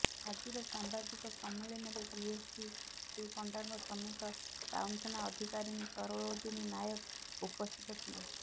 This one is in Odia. ଆଜିର ସାମ୍ବାଦିକ ସମ୍ମିଳନୀରେ ଡିଏସପି ଶ୍ରୀ ପଣ୍ଡାଙ୍କ ସମେତ ଟାଉନଥାନା ଅଧିକାରିଣୀ ସରୋଜିନୀ ନାୟକ ଉପସ୍ଥିତ ଥିଲେ